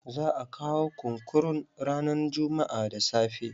Za a kawo kunkurun ranan jummu'a da safe.